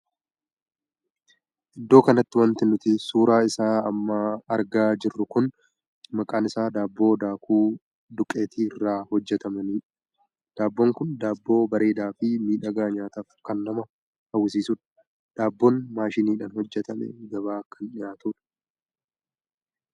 Iddoo kanatti wanti nuti suuraa isaa amma argaa jirru kun maqaan isaa daabboo daakuu duqeetii irraa hojjetamaniidha. daabboon kun daabboo bareedaa fi miidhagaa nyaataaf kan namaa hawwisiisuudha. daabboon maashiniidhaan hojjetamee gabaa kan dhihaatudha.